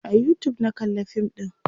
a YouTube na kalla fin ɗin